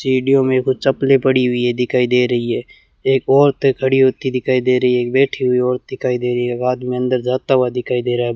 सीढ़ियों में कुछ चप्पले पड़ी हुई है दिखाई दे रही है एक औरत खड़ी होती दिखाई दे रही है एक बैठी हुई औरत दिखाई दे रही है आदमी अंदर जाता हुआ दिखाई दे रहा है।